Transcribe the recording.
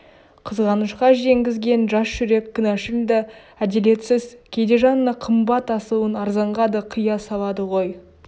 қызғанышқа жеңгізген жас жүрек кінәшыл да әделетсіз кейде жанына қымбат асылын арзанға да қия салады ғой